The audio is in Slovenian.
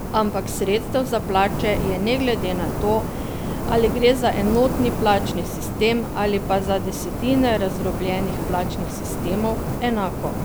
Ampak sredstev za plače je ne glede na to, ali gre za enotni plačni sistem ali pa za desetine razdrobljenih plačnih sistemov, enako.